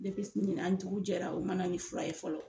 ɲinan dugu jɛra , u mana nin fura ye fɔlɔ.